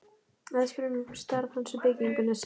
Aðspurður um starf hans við bygginguna, segir